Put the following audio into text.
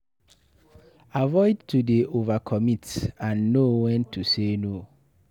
Avoid to dey overcommit and know when to say no